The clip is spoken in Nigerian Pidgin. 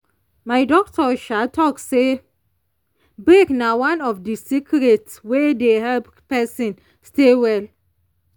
my doctor um talk say break na one of the secret wey dey help person stay well.